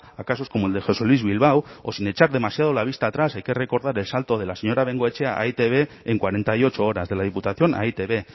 a casos como el de josé luis bilbao o sin echar demasiado la vista atrás hay que recordar el salto de la señora bengoetxea a e i te be en cuarenta y ocho horas de la diputación a e i te be